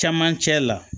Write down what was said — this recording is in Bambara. Camancɛ la